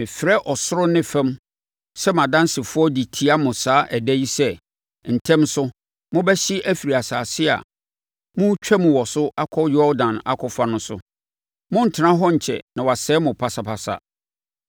mefrɛ ɔsoro ne fam sɛ mʼadansefoɔ de tia mo saa ɛda yi sɛ, ntɛm so, mobɛhye afiri asase a moretwam wɔ so akɔ Yordan akɔfa no so. Morentena hɔ nkyɛ na wɔasɛe mo pasapasa.